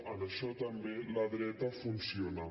en això també la dreta funciona